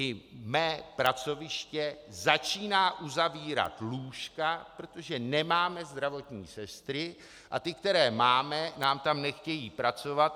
I mé pracoviště začíná uzavírat lůžka, protože nemáme zdravotní sestry a ty, které máme, nám tam nechtějí pracovat.